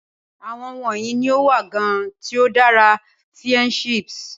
Awọn wọnyi ni o wa gan ti o dara fiendships